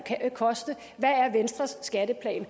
koste hvad er venstres skatteplan